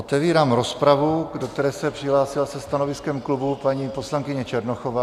Otevírám rozpravu, do které se přihlásila se stanoviskem klubu paní poslankyně Černochová.